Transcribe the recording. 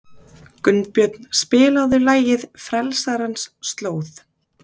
Gunnbjörn, spilaðu lagið „Frelsarans slóð“.